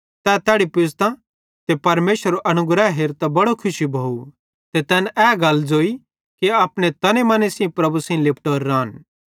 तै तैड़ी पुज़तां ते परमेशरेरो अनुग्रह हेरतां बड़ो खुशी भोव ते तैन ए गल ज़ोई कि अपने तने मने सेइं प्रभु सेइं लिपटोरे रान